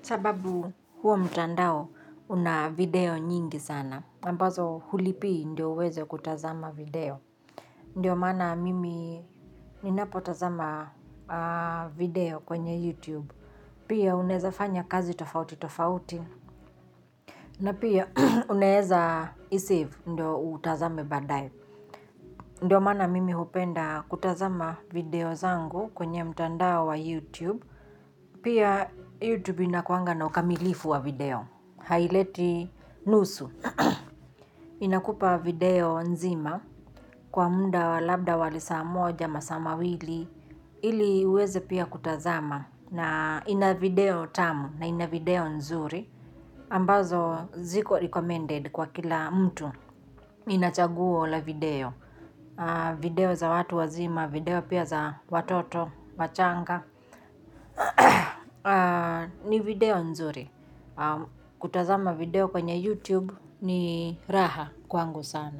Sababu huo mtandao una video nyingi sana ambazo hulipii ndiyo uweze kutazama video. Ndiyo maana mimi ninapotazama video kwenye YouTube. Pia unaweza fanya kazi tofauti tofauti. Na pia uneweza isave ndiyo utazame baadaye. Ndiyo maana mimi hupenda kutazama video zangu kwenye mtandao wa YouTube, pia YouTube inakuwanga na ukamilifu wa video, haileti nusu. Inakupa video nzima kwa muda wa labda lisaa moja au masaa mawili, ili uweze pia kutazama, na ina video tamu na ina video nzuri, ambazo ziko recommended kwa kila mtu, inachagua video. Video za watu wazima, video pia za watoto wachanga ni video nzuri. Kutazama video kwenye YouTube ni raha kwangu sana.